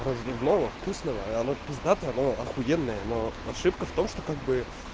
разливного вкусного и оно пиздатое оно ахуенное но ошибка в том что как бы